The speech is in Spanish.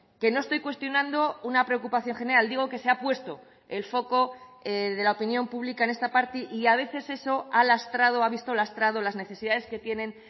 que no estoy cuestionando una preocupación general digo que se ha puesto el foco de la opinión pública en esta parte y a veces eso ha lastrado o ha visto lastrado las necesidades que tienen